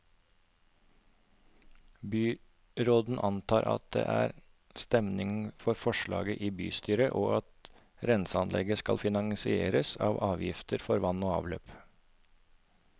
Byråden antar at det er stemning for forslaget i bystyret, og at renseanlegget skal finansieres av avgiftene for vann og avløp.